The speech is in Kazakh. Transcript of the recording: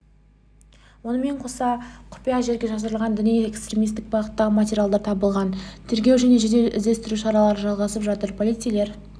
онымен қоса құпия жерге жасырылған діни-экстремистік бағыттағы материалдар табылған тергеу және жедел-іздестіру шаралары жалғасып жатыр полицейлер